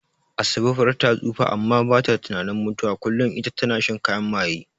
Asabe far ta tsufa amma bata tunanin mutuwa, kullin ita na shan kayan maye.